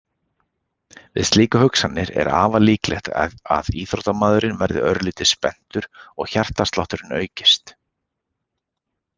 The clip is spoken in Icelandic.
Við slíkar hugsanir er afar líklegt að íþróttamaðurinn verði örlítið spenntur og hjartslátturinn aukist.